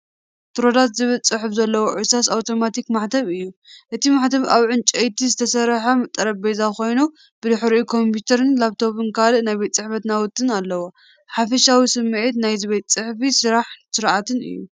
"ትሮዳት" ዝብል ጽሑፍ ዘለዎ እርሳስ ኣውቶማቲክ ማሕተም እዩ። እቲ ማሕተም ኣብ ብዕንጨይቲ ዝተሰርሐ ጠረጴዛ ኮይኑ ብድሕሪት ኮምፒተር ላፕቶፕን ካልእ ናይ ቤት ጽሕፈት ናውትን ኣለዎ። ሓፈሻዊ ስምዒት ናይዚ ቤት ጽሕፈት ስራሕን ስርዓትን እዩ።